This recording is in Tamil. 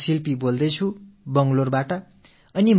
அவர் எனக்கு ஒரு நிகழ்வை நினைவுபடுத்தி இருக்கிறார்